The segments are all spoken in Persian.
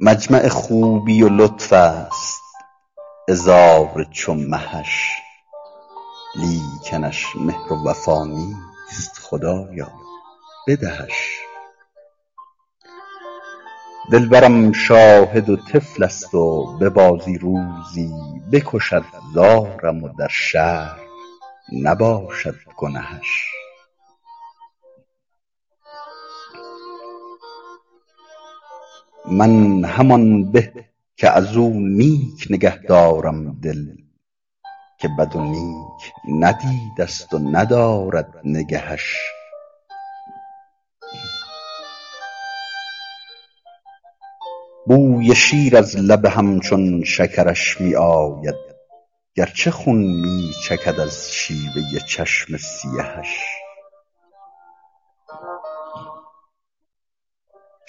مجمع خوبی و لطف است عذار چو مهش لیکنش مهر و وفا نیست خدایا بدهش دلبرم شاهد و طفل است و به بازی روزی بکشد زارم و در شرع نباشد گنهش من همان به که از او نیک نگه دارم دل که بد و نیک ندیده ست و ندارد نگهش بوی شیر از لب همچون شکرش می آید گرچه خون می چکد از شیوه چشم سیهش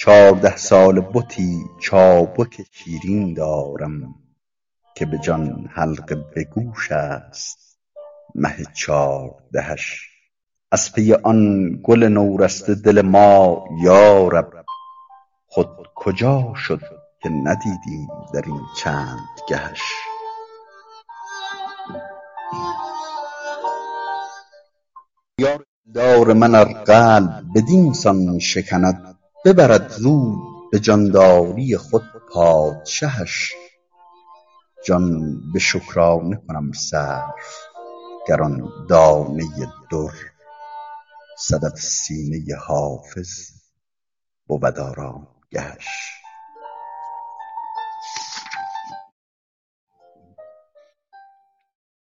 چارده ساله بتی چابک شیرین دارم که به جان حلقه به گوش است مه چاردهش از پی آن گل نورسته دل ما یارب خود کجا شد که ندیدیم در این چند گهش یار دلدار من ار قلب بدین سان شکند ببرد زود به جانداری خود پادشهش جان به شکرانه کنم صرف گر آن دانه در صدف سینه حافظ بود آرامگهش